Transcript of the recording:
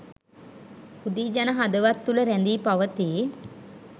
හුදී ජන හදවත් තුළ රැඳී පවතී.